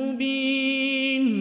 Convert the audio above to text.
مُّبِينٌ